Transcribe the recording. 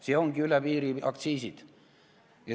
Meil ongi üle piiri aktsiisid.